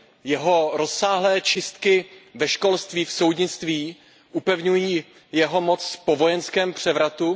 Jeho rozsáhlé čistky ve školství a v soudnictví upevňují jeho moc po vojenském převratu.